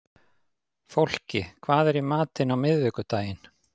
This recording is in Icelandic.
Fólki, hvað er í matinn á miðvikudaginn?